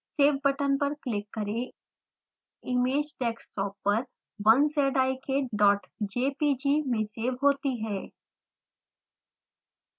save button पर click करें image desktop पर 1zikjpg में सेव होती है